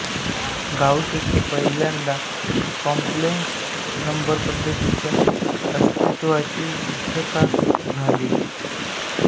गाउसने पहिल्यांदा complex number पद्धतीच्या अस्तित्वाची सिद्धता दिली